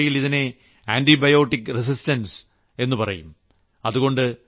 medical ഭാഷയിൽ ഇതിനെ antibiotic resistance എന്ന് പറയും